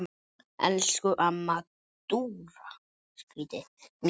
Elsku amma Dúra mín.